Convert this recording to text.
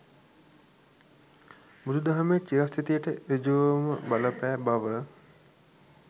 බුදු දහමේ චිරස්ථිතියට ඍජුවම බලපෑ බව